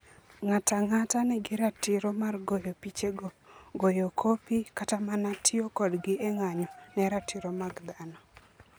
Ng'ato ang'ata nigi ratiro mar goyo pichego, goyo kopi, kata mana tiyo kodgi e ng'anyo ne ratiro mag dhano.